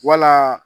Wala